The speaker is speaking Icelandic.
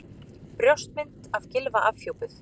Brjóstmynd af Gylfa afhjúpuð